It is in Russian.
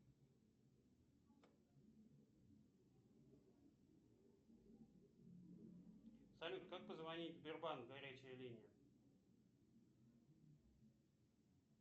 салют как позвонить в сбербанк горячая линия